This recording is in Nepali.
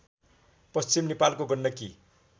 पश्चिम नेपालको गण्डकी